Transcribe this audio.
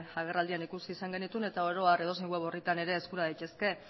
agerraldian ikusi izan genituen eta oro har edozein web orritan ere eskura daitezke